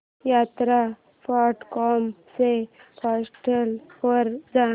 यात्रा dot com च्या portal वर जा